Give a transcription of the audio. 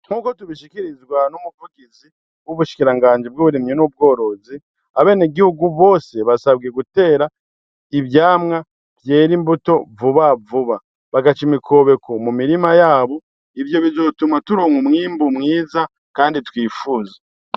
Nk'uko tubishikirizwa n'umuvugizi w'ubushikiranganje bw'uburemye n'ubworozi abene gihugu bose basabwe gutera ivyamwa vyera imbuto vuba vuba bagaca imikobeko mu mirima yabo ivyo bizotuma turonwa umwimbu mwiza, kandi twifuzwa.